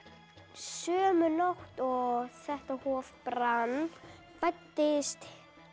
sömu nótt og þetta hof brann fæddist